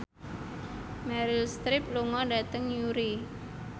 Meryl Streep lunga dhateng Newry